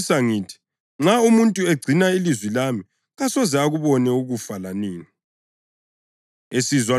Ngiyaqinisa ngithi, nxa umuntu egcina ilizwi lami kasoze akubone ukufa lanini.”